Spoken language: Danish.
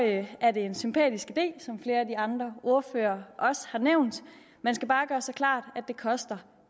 det er en sympatisk idé som flere af de andre ordførere også har nævnt man skal bare gøre sig klart at det koster